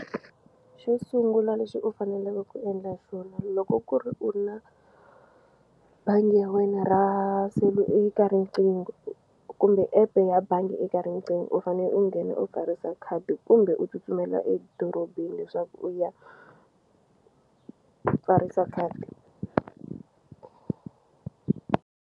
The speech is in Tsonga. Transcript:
Xo sungula lexi u faneleke ku endla xona loko ku ri u na bangi ya wena ra eka riqingho kumbe epe ya bangi eka riqingho u fane u nghena u pfarisa khadi kumbe u tsutsumela edorobeni leswaku u ya pfarisa khadi.